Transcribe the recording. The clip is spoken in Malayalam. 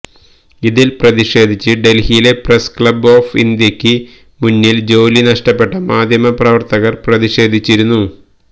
ഇതില് പ്രതിഷേധിച്ച് ഡല്ഹിയിലെ പ്രസ് ക്ലബ് ഓഫ് ഇന്ത്യക്ക് മുന്നില് ജോലി നഷ്ടപ്പെട്ട മാദ്ധ്യമ പ്രവര്ത്തകര് പ്രതിഷേധിച്ചിരുന്നു